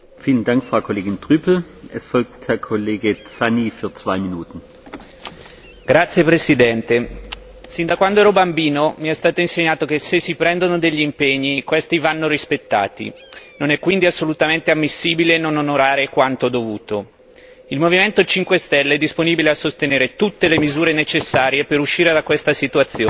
Signor Presidente, onorevoli colleghi, sin da quando ero bambino mi è stato insegnato che se si prendono degli impegni questi vanno rispettati. Non è quindi assolutamente ammissibile non onorare quanto dovuto. Il Movimento 5 stelle è disponibile a sostenere tutte le misure necessarie per uscire da questa situazione,